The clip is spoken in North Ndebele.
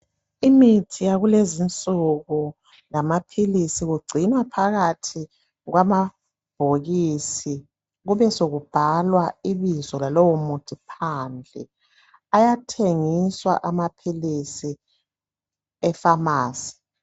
Imithi yakulezinsuku lamaphilisi kugcinwa phakathi kwamabhokisi kube sekubhalwa ibizo lalowo muthi phandle ayathengiswa amaphilisi efamasi